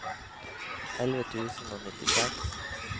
elleve tusen og nittiseks